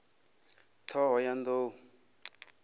ṱhohoyanḓou